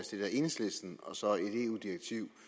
stillet af enhedslisten og så et eu direktiv